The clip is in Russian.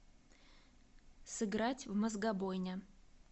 сыграть в мозгобойня